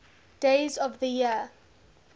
days of the year